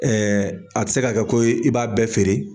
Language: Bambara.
a ti se ka kɛ ko i b'a bɛɛ feere